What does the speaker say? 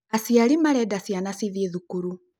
Aciari marenda ciana cĩthiĩ thukuru